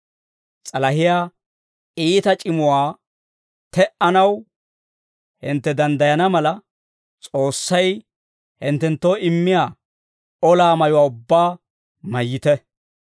S'alahiyaa iita c'imuwaa te"anaw hintte danddayana mala, S'oossay hinttenttoo immiyaa ollaa mayuwaa ubbaa mayyite.